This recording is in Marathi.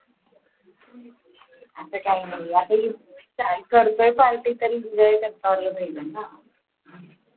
आता काही नाही आता काय करतोय party तरी enjoy होईल ना